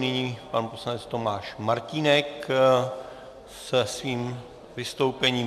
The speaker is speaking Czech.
Nyní pan poslanec Tomáš Martínek se svým vystoupením.